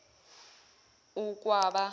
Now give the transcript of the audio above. ukwaba